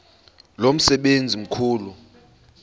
lo msebenzi mkhulu